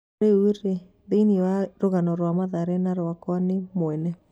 "Rĩu rĩ thĩiniĩ ya rũgano rwa Mathare na yakwa niĩ mwene."